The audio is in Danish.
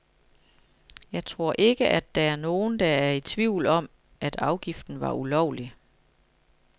Jeg tror ikke, at der er nogen, der er i tvivl om, at afgiften var ulovlig.